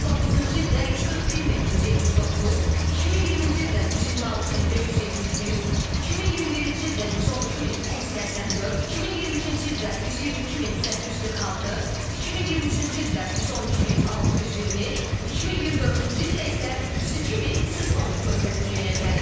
2019-cu ildə 141179, 2020-ci ildə 126571, 2021-ci ildə 112284, 2022-ci ildə 122846, 2023-cü ildə 112620, 2024-cü ildə isə 102310 körpə dünyaya gəlib.